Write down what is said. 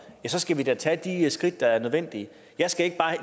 så skal vi da tage de skridt der er nødvendige jeg skal ikke